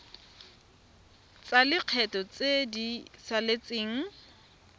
tsa lekgetho tse di saletseng